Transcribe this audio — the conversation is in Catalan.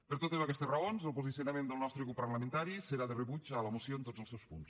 per totes aquestes raons el posicionament del nostre grup parlamentari serà de rebuig a la moció en tots els seus punts